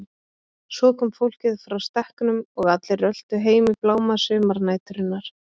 Svo kom fólkið frá stekknum og allir röltu heim í bláma sumarnæturinnar.